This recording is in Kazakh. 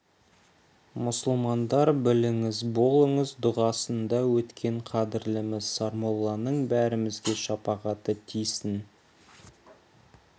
мұсылмандар біліңіз болыңыз дұғасында өткен қадірліміз сармолланың бәрімізге шапағаты тисін